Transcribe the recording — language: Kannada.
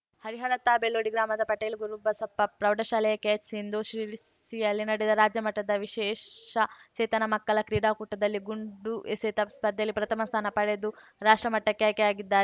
ಹರಿಹರ ತಾ ಬೆಳ್ಳೂಡಿ ಗ್ರಾಮದ ಪಟೇಲ್‌ ಗುರುಬಸಪ್ಪ ಪ್ರೌಢಶಾಲೆಯ ಕೆಎಚ್‌ ಸಿಂಧೂ ಶಿರಸಿಯಲ್ಲಿ ನಡೆದ ರಾಜ್ಯ ಮಟ್ಟದ ವಿಶೇಷಚೇತನ ಮಕ್ಕಳ ಕ್ರೀಡಾಕೂಟದಲ್ಲಿ ಗುಂಡು ಎಸೆತ ಸ್ಪರ್ಧೆಯಲ್ಲಿ ಪ್ರಥಮ ಸ್ಥಾನ ಪಡೆದು ರಾಷ್ಟ್ರ ಮಟ್ಟಕ್ಕೆ ಆಯ್ಕೆಯಾಗಿದ್ದಾ